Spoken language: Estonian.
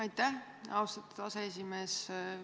Aitäh, austatud aseesimees!